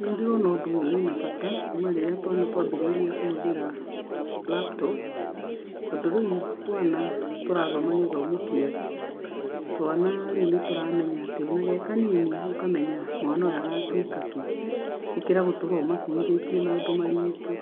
Nĩ ndĩrona ũndũ ũyũ wĩna bata, kuma hĩndi ĩrĩa twana twambĩrĩirie kũhũthĩra laptop, tondũ rĩu twana tũrathoma gĩthomo kĩega. Twana rĩu nĩ tũramenya, ati o na ge kanini, ũkamenya mwana ũyũ agatuĩka kĩ. Gũkĩra gũtũra ũmakuithĩtie maũndũ maritũ,